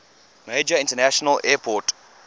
major international airport